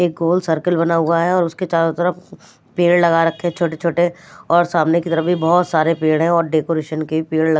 एक गोल सर्कल बना हुआ है और उसके चारों तरफ पेड़ लगा रखे हैं छोटे-छोटे और सामने की तरफ भी बहुत सारे पेड़ हैं और डेकोरेशन के पेड़ --